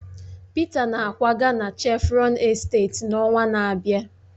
Peter na-akwaga na Chevron esteeti n'ọnwa na-abịa